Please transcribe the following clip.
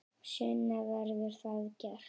Sunna: Verður það gert?